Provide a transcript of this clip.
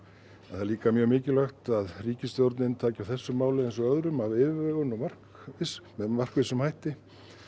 það er líka mjög mikilvægt að ríkisstjórnin taki á þessu máli eins og öðrum af yfirvegun og með markvissum hætti